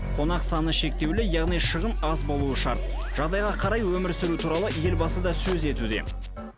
қонақ саны шектеулі яғни шығын аз болуы шарт жағдайға қарай өмір сүру туралы елбасы да сөз етуде